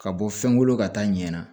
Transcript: Ka bɔ fɛn kolo ka taa ɲɛ na